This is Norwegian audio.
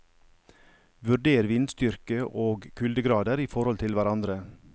Vurder vindstyrke og kuldegrader i forhold til hverandre.